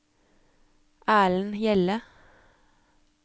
Erlend Hjelle